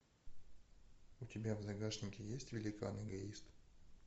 у тебя в загашнике есть великан эгоист